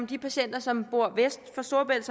de patienter som bor vest for storebælt